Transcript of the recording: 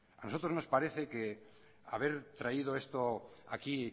nosotros nos parece haber traído esto aquí